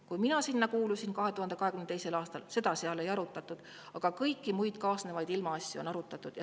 Kui mina sinna 2022. aastal kuulusin, siis seda seal ei arutatud, aga kõiki muid kaasnevaid ilmaasju on arutatud.